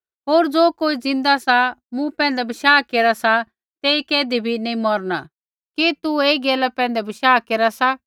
होर ज़ो कोई ज़िन्दा सा मूँ पैंधै बशाह केरा सा तेई कैधी बी नैंई मौरणा कि तू ऐई गैला पैंधै बशाह केरा सा